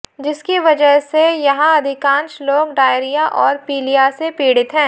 जिसकी वजह से यहां अधिकांश लोग डायरिया और पीलिया से पीड़ित हैं